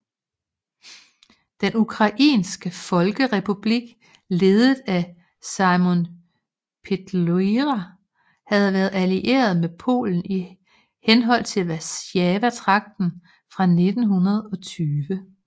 Den ukrainske folkerepublik ledet af Symon Petliura havde været allieret med Polen i henhold til Warszawa traktaten fra 1920